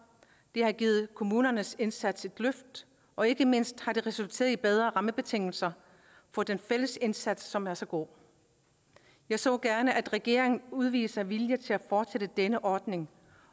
det har givet kommunernes indsats et løft og ikke mindst har det resulteret i bedre rammebetingelser for den fælles indsats som er så god jeg så gerne at regeringen udviste vilje til at fortsætte denne ordning